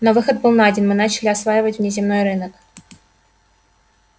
но выход был найден мы начали осваивать внеземной рынок